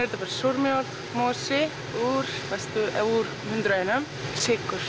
þetta bara súrmjólk mosi úr hundrað og einum sykur